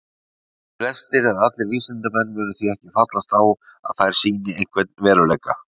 Flestir eða allir vísindamenn munu því ekki fallast á að þær sýni einhvern veruleika.